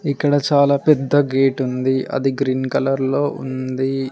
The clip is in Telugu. ఇక్కడ చాలా పెద్ద గేటుంది అది గ్రీన్ కలర్ లో ఉంది.